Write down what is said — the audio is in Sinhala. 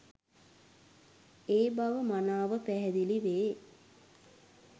ඒ බව මනාව පැහැදිලි වේ.